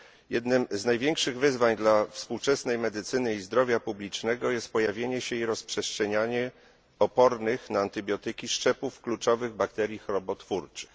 Jednym z największych wyzwań dla współczesnej medycyny i zdrowia publicznego jest pojawienie się i rozprzestrzenianie opornych na antybiotyki szczepów kluczowych bakterii chorobotwórczych.